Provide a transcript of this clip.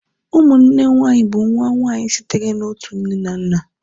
ụmụnne nwanyị bụ nwa nwanyị sitere na otu nne na nna